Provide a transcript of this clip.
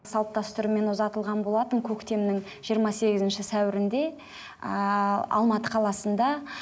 салт дәстүрмен ұзатылған болатын көктемнің жиырма сегізінші сәуірінде ыыы алматы қаласында